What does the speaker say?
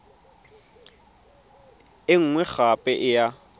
e nngwe gape e ya